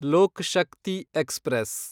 Lok Shakti express